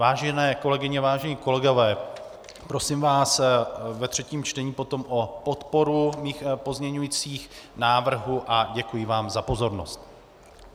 Vážené kolegyně, vážení kolegové, prosím vás ve třetím čtení potom o podporu mých pozměňovacích návrhů a děkuji vám za pozornost.